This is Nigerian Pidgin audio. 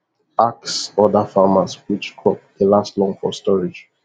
asks other farmers which crop dey last long for storage